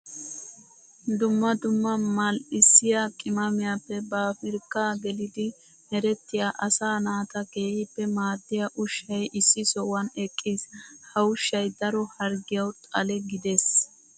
Dumma dumma mal'issiya qimaamiyappe pabirkka geliddi merettiya asaa naata keehippe maadiya ushshay issi sohuwan eqqiis. Ha ushshay daro harggiyawu xalle giddes.